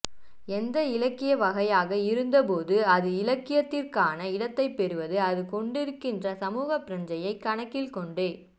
எந்த இலக்கிய வகையாக இருந்தபோதும் அது இலக்கியத்திற்கான இடத்தைப் பெறுவது அது கொண்டிருக்கின்ற சமூகப் பிரக்ஞையை கணக்கில் கொண்டே